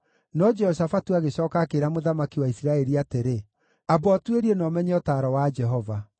No Jehoshafatu agĩcooka akĩĩra mũthamaki wa Isiraeli atĩrĩ, “Amba ũtuĩrie na ũmenye ũtaaro wa Jehova.”